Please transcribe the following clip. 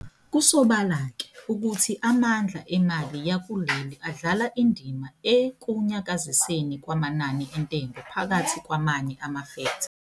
Kusobala ke, ukuthi amandla emali yakuleli adlala indima ekunyakazeni kwamanani entengo phakathi kwamanye ama-fektha.